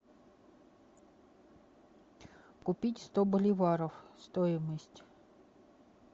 купить сто боливаров стоимость